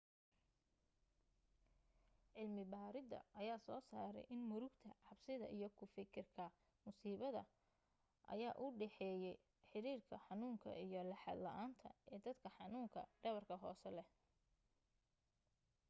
cilmi baaridda ayaa soo saaray in murugta cabsida iyo ku fakirka musiibada ayaa u dhexeeyey xiriirka xanuunka iyo laxaad la'aanta ee dadka xanuunka dhabarka hoose leh